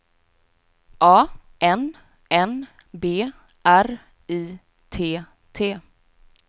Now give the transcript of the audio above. A N N B R I T T